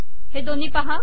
हे दोन्ही पहा